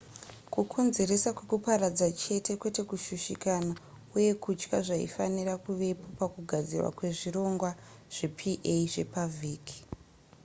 kukonzeresa kwekuparadza chete kwete kushushikana uye kutya zvaifanira kuvepo pakugadzirwa kwezvirongwa zvepa zvepavhiki